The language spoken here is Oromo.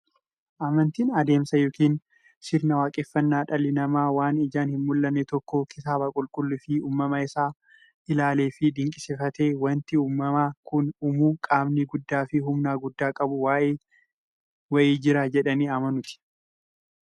Amantiin adeemsa yookiin sirna waaqeffannaa dhalli namaa waan ijaan hinmullanne tokko kitaaba qulqulluufi uumama isaa isaa ilaaleefi dinqisiifatee, wanti uumama kana uumu qaamni guddaafi humna guddaa qabu wa'ii jira jedhanii amanuuti.